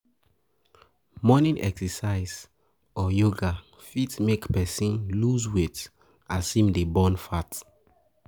Morning Exercise or yoga fit make person loose weight as im dey burn fat